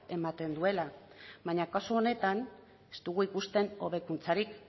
ematen duela baina kasu honetan ez dugu ikuste hobekuntzarik